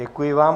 Děkuji vám.